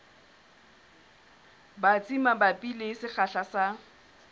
batsi mabapi le sekgahla sa